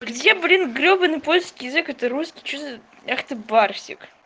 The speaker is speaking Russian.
где блин гребаный польский язык это русский что за ах ты барсик